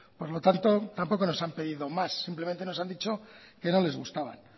por lo tanto tampoco nos han pedido más simplemente nos han dicho que no les gustaban